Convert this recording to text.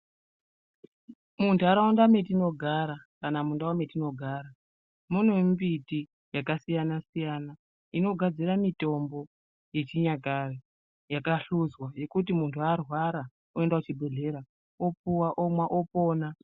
Mundaraunda matinogara kana mundau matinogara mune mimbiti akasiyana-siyana inogadzira mutombo Yechinyakare yakahluzwa yekuti muntu arwara oenda kuchibhedhlera opuwa omwa opona.